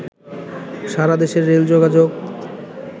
সারাদেশের রেল যোগাযোগ